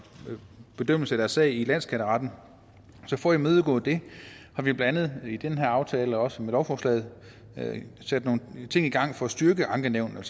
bedømmelse af deres sag i landsskatteretten så for at imødegå det har vi blandt andet i den her aftale og også med lovforslaget sat nogle ting i gang for at styrke ankenævnene